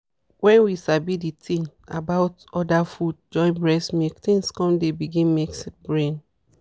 when we sabi the thing about other food join breast milk things con dey begin make brain.